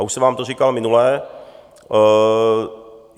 A už jsem vám to říkal minule.